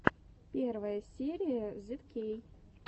первая серия зидкей